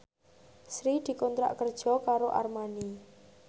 Sri dikontrak kerja karo Armani